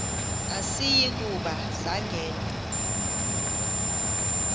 asiyi kuba sangena